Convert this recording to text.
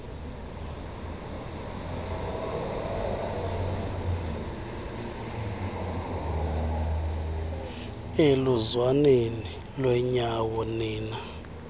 eluzwaneni lwenyawo nina